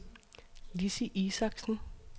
Lissi Isaksen